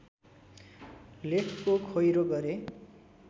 लेखको खोइरो गरे